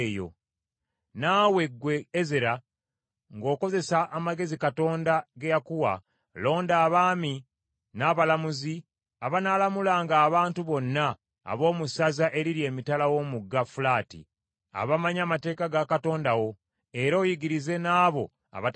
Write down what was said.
“Naawe, ggwe Ezera, ng’okozesa amagezi Katonda ge yakuwa, londa abaami n’abalamuzi, abanaalamulanga abantu bonna ab’omu ssaza eriri emitala w’omugga Fulaati, abamanyi amateeka ga Katonda wo, era oyigirize n’abo abatagamanyi.